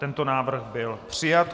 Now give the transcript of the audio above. Tento návrh byl přijat.